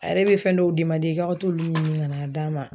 A yɛrɛ bɛ fɛn dɔw i ka t'olu ɲini ka n'a d'a ma.